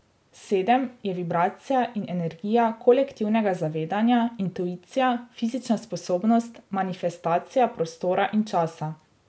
Sedem je vibracija in energija kolektivnega zavedanja, intuicija, fizična sposobnost, manifestacija prostora in časa.